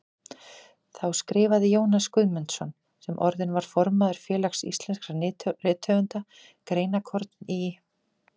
Þá skrifaði Jónas Guðmundsson, sem orðinn var formaður Félags íslenskra rithöfunda, greinarkorn í